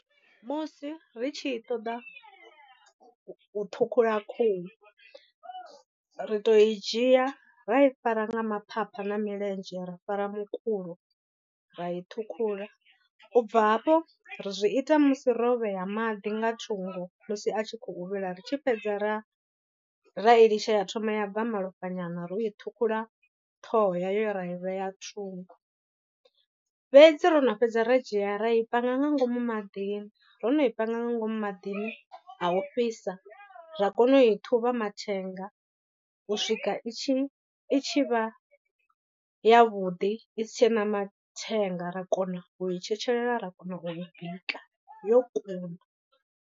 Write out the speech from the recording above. Musi ri tshi i ṱoḓa u ṱhukhula khuhu, ri to i dzhia ra i fara nga maphapha na milenzhe ra fara mukulo ra i ṱhukhula, u bva hafho ri zwi ita musi ro vhea maḓi nga thungo musi a tshi khou vhila ri tshi fhedza ra ra ilitsha ya thoma ya bva malofha nyana ro i ṱhukhula ṱhoho ya yo ra i vhea thungo. Fhedzi ro no fhedza ra dzhia ra i panga nga ngomu maḓini ro no i panga nga ngomu maḓini a u fhisa ra kona u i ṱhuvha mathenga u swika i tshi i tshi vha ya vhuḓi i si tshena mathenga ra kona u i tshetshelela ra kona u bika yo kuna.